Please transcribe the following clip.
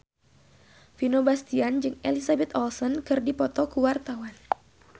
Vino Bastian jeung Elizabeth Olsen keur dipoto ku wartawan